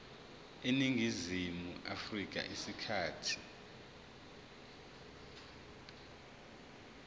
eningizimu afrika isikhathi